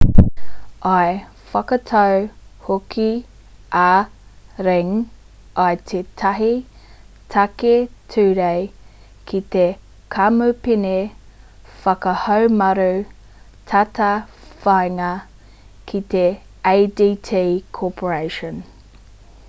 i whakatau hoki a ring i tētahi take ture ki te kamupene whakahaumaru tātāwhāinga ko te adt corporation